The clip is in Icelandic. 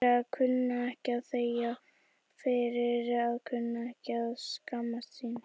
Fyrir að kunna ekki að þegja, fyrir að kunna ekki að skammast sín.